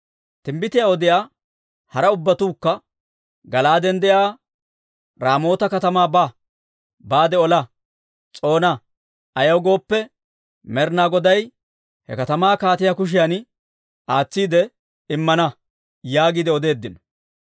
Timbbitiyaa odiyaa hara ubbatuukka, «Gala'aaden de'iyaa Raamoota katamaa baade ola; s'oona. Ayaw gooppe, Med'inaa Goday he katamaa kaatiyaa kushiyan aatsiide immana» yaagiide odeeddino.